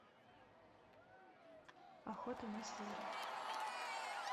охота на зверя